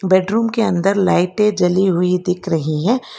Bedroom के अंदर लाइटें जली हुई दिख रही है।